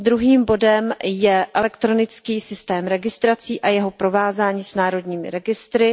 Druhým bodem je elekronický systém registrací a jeho provázání s národními registry.